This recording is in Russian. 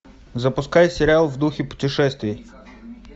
запускай сериал в духе путешествий